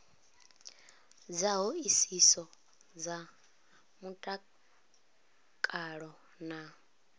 dza hoisiso dza mutakalo na